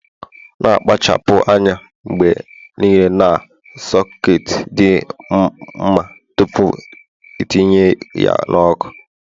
Na -akpachapụ anya mgbe niile na soketi dị mma tupu itinye ya n' ọkụ